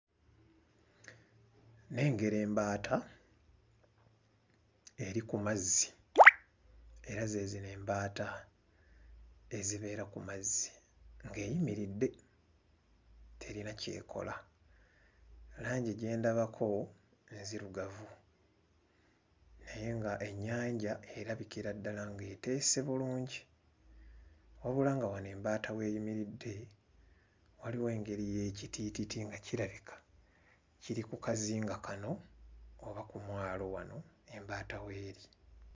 Nnengera embaata eri ku mazzi era ze zino embaata ezibeera ku mazzi ng'eyimiridde terina ky'ekola. Langi gye ndabako nzirugavu naye ng'ennyanja erabikira ddala ng'eteese bulungi. Wabula nga wano embaata w'eyimiridde waliwo engeri y'ekitiititi nga kirabika kiri ku kazinga kano oba ku mwalo wano embaata w'eri.